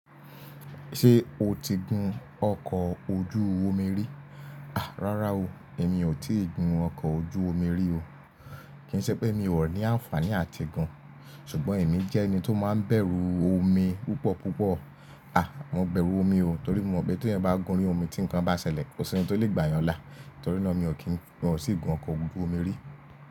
Ṣé o ti gun ọkọ̀ ojú omi rí? À, rárá o, èmi ò tí ì gun ọkọ̀ ojú omi rí o. Kì í ṣe pé èmi ò rò ní àǹfààní àtigún. Ṣùgbọ́n èmi jẹ́ ẹni tó máa ń bẹ̀rù omi púpọ̀ púpọ̀. À, mo bẹ̀rù omi o, torí mo mọ̀ pé tí ẹ bá gun orí omi tí nǹkan bá ṣẹlẹ̀, kò sí ohun tó lè gbà yàn là. Torí náà mi ò kín, mi ò sì gun ọkọ̀ ojú omi rí.